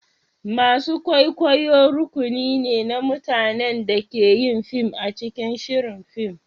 masu kwaikwayo rukuni ne na mutanen da ke yin fim a cikin shirin fim.